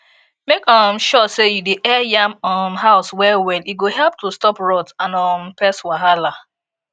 make um sure say you dey air yam um house wellwell e go help to stop rot and um pest wahala